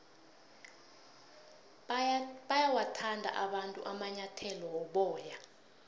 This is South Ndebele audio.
bayawathanda abantu amanyathele woboya